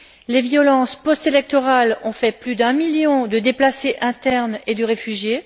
Les violences postélectorales ont fait plus d'un million de déplacés internes et de réfugiés.